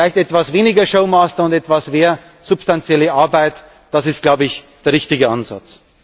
Vielleicht weniger Showmaster und etwas mehr substanzielle Arbeit, das ist, glaube ich, der richtige Ansatz.